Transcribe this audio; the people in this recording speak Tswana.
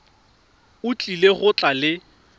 o tlile go tla le